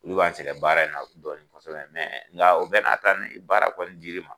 Olu b'an sɛgɛn baara in na dɔɔni kɔsɔbɛn nga u bɛɛ n'a ta nin baara kɔni dir'i ma